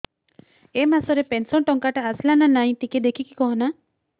ଏ ମାସ ରେ ପେନସନ ଟଙ୍କା ଟା ଆସଲା ନା ନାଇଁ ଟିକେ ଦେଖିକି କହନା